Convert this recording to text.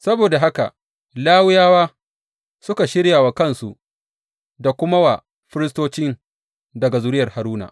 Saboda haka Lawiyawa suka shirya wa kansu da kuma wa firistocin daga zuriyar Haruna.